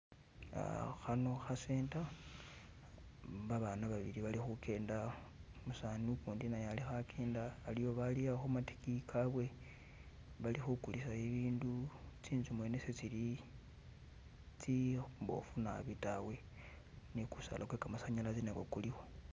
Khano kha center babana babili bali khugenda umusani ugundi naye alikho agenda aliyo baaliha khumadigiyi gabwe bali khugulisa ibindu tsinzu mwene se tsili tsimbofu naabi dawe ni gusaala gwe gamasanalaze nagwo guliwo.